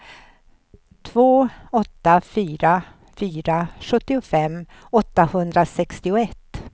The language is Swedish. två åtta fyra fyra sjuttiofem åttahundrasextioett